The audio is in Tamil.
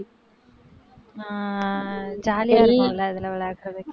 ஆஹ் jolly ஆ இருக்கும் இல்ல இதுல விளையாடுறதுக்கு